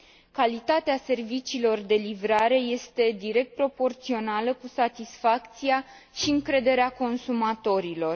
Calitatea serviciilor de livrare este direct proporțională cu satisfacția și încrederea consumatorilor.